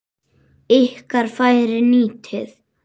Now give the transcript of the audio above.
Ykkar færi nýtið.